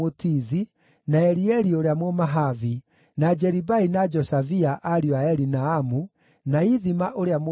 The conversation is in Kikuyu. na Elieli ũrĩa Mũmahavi, na Jeribai na Joshavia, ariũ a Elinaamu, na Ithima ũrĩa Mũmoabi,